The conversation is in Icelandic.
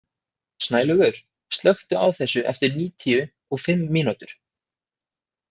Snælaugur, slökktu á þessu eftir níutíu og fimm mínútur.